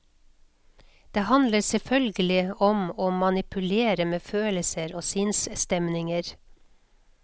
Det handler selvfølgelig om å manipulere med følelser og sinnsstemninger.